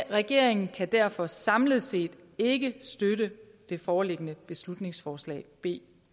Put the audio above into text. regeringen kan derfor samlet set ikke støtte det foreliggende beslutningsforslag b